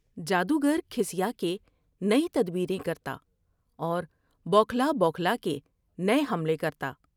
جادوگر کھسیا کے نئی تدبیر میں کرتا اور بوکھلا بوکھلا کے نئے حملے کرتا ۔